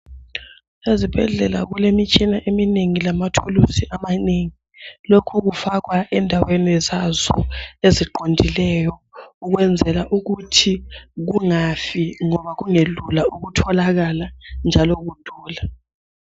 Ezibhedlela kulemitshina eminengi lamathuluzi amanengi. Lokho kufakwa endaweni zazo eziqondileyo ukwenzela ukuthi kungabi ngoba kungelula ukutholakala njalo kudula.